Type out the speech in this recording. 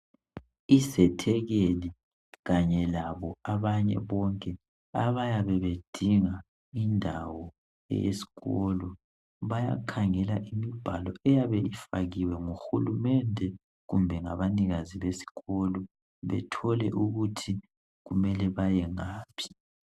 Izethekeli kanye labo abanye bonke abayabe bedinga indawo eyesikolo bayakhangela imibhalo eyabe ifakiwe nguhulumende kumbe ngabanikazi besikolo bethole ukuthi kumele baye ngaphi.